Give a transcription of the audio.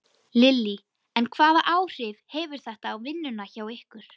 Lillý: En hvaða áhrif hefur þetta á vinnuna hjá ykkur?